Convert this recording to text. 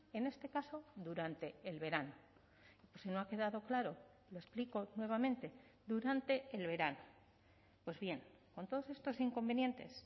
en este caso durante el verano si no ha quedado claro lo explico nuevamente durante el verano pues bien con todos estos inconvenientes